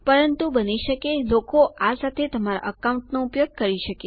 પરંતુ બની શકે લોકો આ સાથે તમારા એકાઉન્ટ નો ઉપયોગ કરી શકે